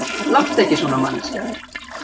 Láttu ekki svona, manneskja.